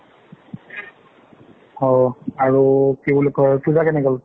অ, আৰু কি বুলি কই, পূজা কেনে গল?